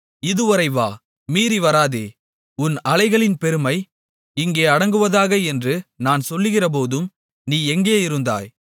இதுவரை வா மீறி வராதே உன் அலைகளின் பெருமை இங்கே அடங்குவதாக என்று நான் சொல்லுகிறபோதும் நீ எங்கேயிருந்தாய்